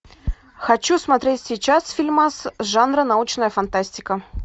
хочу смотреть сейчас фильмас жанра научная фантастика